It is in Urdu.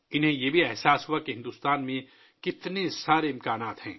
انہوں نے یہ بھی محسوس کیا کہ بھارت میں بہت سے امکانات ہیں